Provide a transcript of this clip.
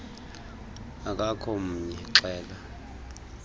akakho mnye xela